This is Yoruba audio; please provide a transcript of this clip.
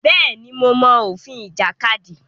Bẹ́ẹ̀ ni, mo mọ òfin ìjàkadì.